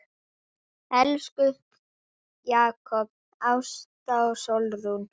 Elsku Jakob, Ásta og Sólrún.